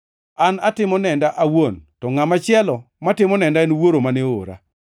An atimo nenda awuon, to ngʼama chielo matimo nenda en Wuoro mane oora.”